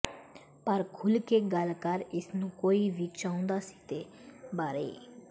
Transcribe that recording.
ਪਰ ਖੁੱਲ੍ਹ ਕੇ ਗੱਲ ਕਰ ਇਸ ਨੂੰ ਕੋਈ ਵੀ ਚਾਹੁੰਦਾ ਸੀ ਦੇ ਬਾਰੇ